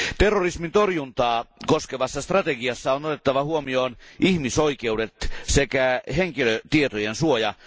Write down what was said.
Terrorismin torjuntaa koskevassa strategiassa on otettava huomioon ihmisoikeudet sekä henkilötietojen suoja.